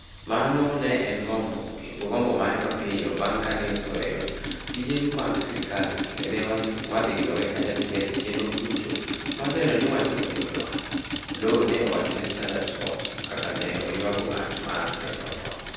"Mano ne en gombo kod gombo mare mapiyo bang' kane oseweyo tije mag sirkal kendo ne wadhi riwore kanyachiel e chenro duto mar neno ni wachno ochopo e wang'e, " Oloo ne owacho ne Standard Sports ka ne oywago ng'at ma ne otho.